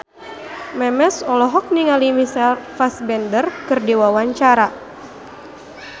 Memes olohok ningali Michael Fassbender keur diwawancara